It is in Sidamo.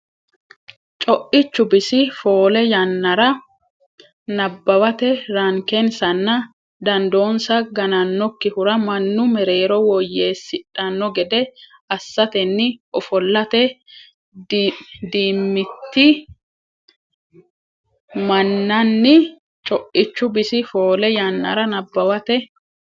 Co ichu bisi foole yannara nabbawate rankensanna dandoonsa ganannokkihura mannu mereero woyyeessidhanno gede assatenni ofollate dimitii minanni Co ichu bisi foole yannara nabbawate.